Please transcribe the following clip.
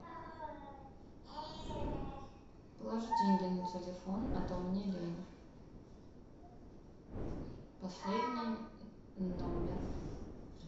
положи деньги на телефон а то мне лень последний номер